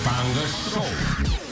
таңғы шоу